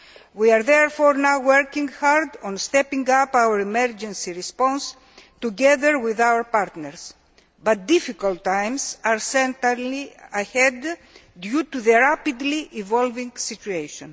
We are therefore now working hard on stepping up our emergency response together with our partners, but difficult times are certainly ahead, due to the rapidly evolving situation.